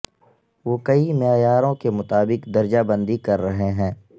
وہ کئی معیاروں کے مطابق درجہ بندی کر رہے ہیں